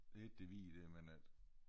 De har ikke det hvide der men øh